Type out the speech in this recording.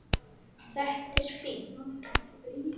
Þetta er fínt.